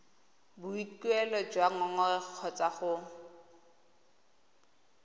boikuelo jwa ngongorego kgotsa go